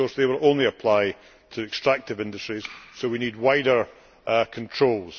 But of course they will only apply to extractive industries, so we need wider controls.